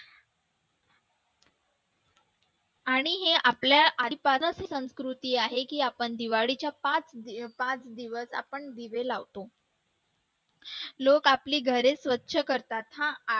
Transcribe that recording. आणि हे आपल्या आधीपासूनच संस्कृती आहे की आपण दिवाळीच्या पाच दिवस आपण दिवे लावतो लोक आपली घरे स्वच्छ करतात हा